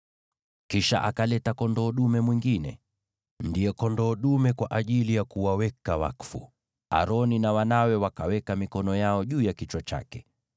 Kisha akaleta kondoo dume mwingine, ndiye kondoo dume kwa ajili ya kuwaweka wakfu, naye Aroni na wanawe wakaweka mikono yao juu ya kichwa chake.